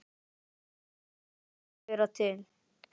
En það kemur reyndar fleira til.